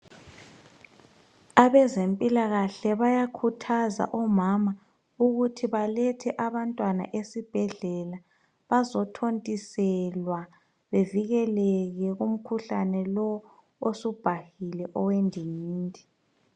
Abezempilakahle bayakhuthaza omama ukuthi balethe abantwana esibhedlela bazothontiselwa bavikeleke kumkhuhlane lo osubhahile owendingindi.